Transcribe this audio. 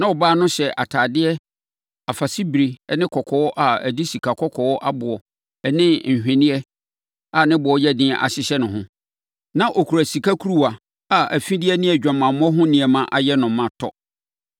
Na ɔbaa no hyɛ atadeɛ afasebire ne kɔkɔɔ a ɔde sikakɔkɔɔ aboɔ ne nhweneɛ a ne boɔ yɛ den ahyehyɛ ne ho. Na ɔkura sika kuruwa a afideɛ ne adwamammɔ ho nneɛma ayɛ no ma tɔ.